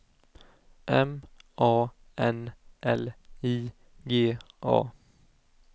M A N L I G A